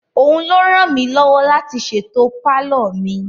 Òun ló ràn mí lọ́wọ́ láti ṣètò palọ mi.